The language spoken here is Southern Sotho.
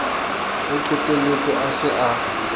o qetelletse a se a